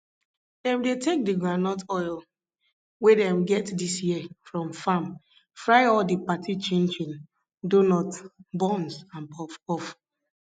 dem dey take the groundnut oil wey dem get dis year from farm fry all the party chinchin donut buns and puffpuff